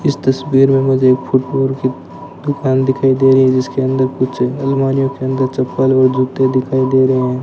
इस तस्वीर में मुझे एक फुटबॉल की दुकान दिखाई दे रही है जिसके अंदर कुछ अलमारियों के अंदर चप्पल व जूते दिखाई दे रहे हैं।